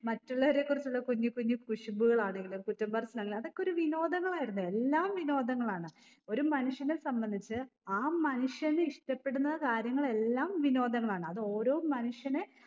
മറ്റുള്ളവരെ കുറിച്ചുള്ള കുഞ്ഞു കുഞ്ഞു കുശുമ്പുകളാണേലും കുറ്റം പറച്ചിലാണെ അതൊക്കെ ഒരു വിനോദങ്ങളായിരുന്നു എല്ലാം വിനോദങ്ങളാണ് ഒരു മനുഷ്യനെ സംബന്ധിച്ച് ആ മനുഷ്യന് ഇഷ്ടപ്പെടുന്ന കാര്യങ്ങളെല്ലാം വിനോദങ്ങളാണ് അത് ഓരോ മനുഷ്യനെ